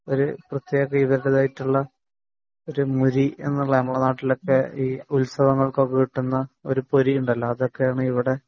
നമ്മളെ നാട്ടിലെ ഉത്സവങ്ങൾക്ക് ഒക്കെ കിട്ടുന്ന കിട്ടുന്ന ഒരു പൊരി ഉണ്ടല്ലോ അതൊക്കെയാണ് ഇവിടുത്തെ